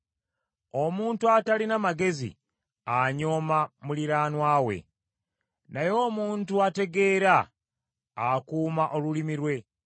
Omuntu atalina magezi anyooma muliraanwa we, naye omuntu ategeera akuuma olulimi lwe.